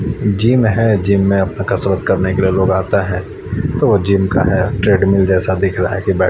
gym है gym में अपने कसरत करने के लिए लोग आता है तो वे जिम का है ट्रेडमेन जेसा दिख रहा है की--